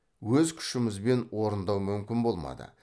өз күшімізбен орындау мүмкін болмады